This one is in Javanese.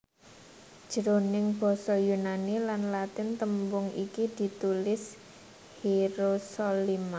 Jroning basa Yunani lan Latin tembung iki ditulis Hierosolyma